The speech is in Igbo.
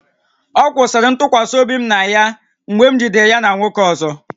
Ọ kwụsịrị ntụkwasị obi m na ya mgbe m na nwoke ọzọ jidere ya